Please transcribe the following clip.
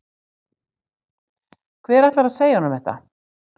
Hver ætlar að segja honum þetta?